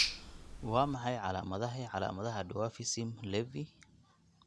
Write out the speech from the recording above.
Waa maxay calaamadaha iyo calaamadaha Dwarfism Levi?